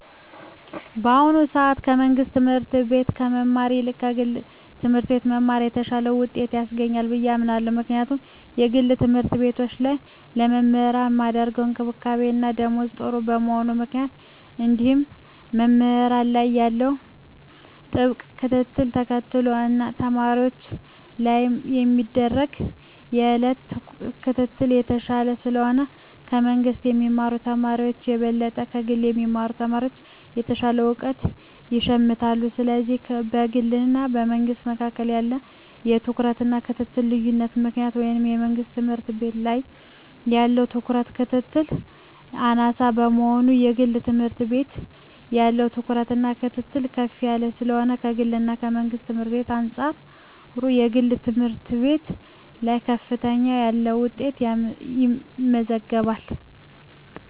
በአሁኑ ሰአት ከመንግስት ትምህርት ቤት ከመማር ይልቅ ከግለሰብ ትምህርት ቤት መማር የተሻለ ውጤት ያስገኛል ብየ አምናለው ምክንያቱም በግል ተምህርትቤቶች ላይ ለመምህራን ሚደረግ እንክብካቤና ደሞዝ ጥሩ በመሆኑ ምክንያት እንዲሁም መምህራን ላይ ያለው ጥብቅ ክትትልን ተከትሎ እና ተማሪወች ላይም የሚደረግ የየእለት ክትትል የተሻለ ስለሆነ ከመንግስ ከሚማሩ ተማሪወች በበለጠ ከግል የሚማሩ ተማሪወች የተሻለ እውቀት ይሸምታሉ ስለዚህ በግልና በመንግስ መካከል ባለው የትኩረትና የክትትል ልዮነት ምክንያት ወይም የመንግስት ትምህርት ቤት ላይ ያለው ትኩረትና ክትትል አናሳ በመሆኑና የግል ትምህርት ቤት ያለው ትኩረትና ክትትል ከፍ ያለ ስለሆነ ከግልና ከመንግስት ትምህርት ቤት በአንጻሩ የግል ትምህርት ቤት ላይ ከፍ ያለ ውጤት ይመዘገባል።